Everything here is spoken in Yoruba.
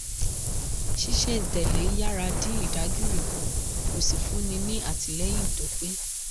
ṣiṣẹ́-n-tẹ̀lé yára dín ìdágìrì kù kó sì fúnni ní àtìlẹ́yìn tó pé.